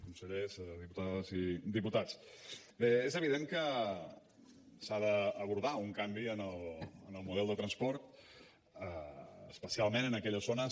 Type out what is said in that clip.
consellers diputades i diputats bé és evident que s’ha d’abordar un canvi en el model de transport especialment en aquelles zones